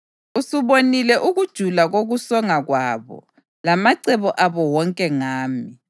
Usubonile ukujula kokusonga kwabo, lamacebo abo wonke ngami.